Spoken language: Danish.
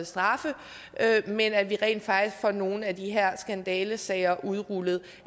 straffe men at vi rent faktisk får nogle af de her skandalesager udrullet